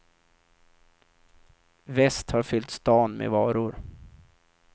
Väst har fyllt stan med varor.